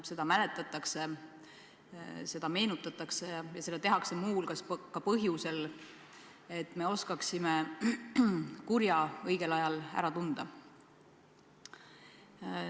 Seda mäletatakse, seda meenutatakse, ja seda tehakse muu hulgas ka põhjusel, et me oskaksime kurja õigel ajal ära tunda.